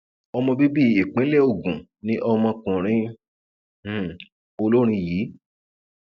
ọmọ bíbí ìpínlẹ ogun ni ọmọkùnrin um olórin yìí